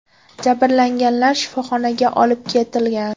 Jabrlanganlar shifoxonaga olib ketilgan.